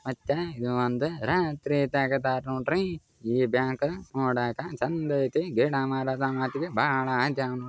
ಮತ್ತ ಇದು ಒಂದ ರಾತ್ರಿ ತಗದಾರ ನೋಡ್ರಿ ಈ ಬ್ಯಾಂಕ . ನೋಡಾಕ ಛಂದೈತಿ ಗಿಡಮರದ ಮಧ್ಯೆ ಭಾಳ --